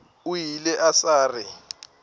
o ile a sa re